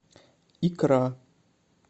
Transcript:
икра